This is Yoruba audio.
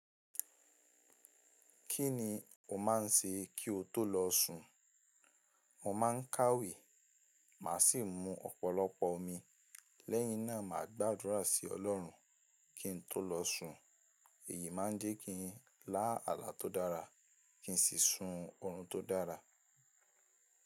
Kí ni o máa ń ṣe kí o tó lọ sùn? Mo máa ń kàwé, màá sì mu ọ̀pọ̀lọpọ̀ omi, lẹ́yìn náà màá gbàdúrà sí Ọlọ́run kí n tó lọ sùn, èyí máa ń jẹ́ kí ń lá àlá tó dára kí n sì sun ọ̀run tó dára.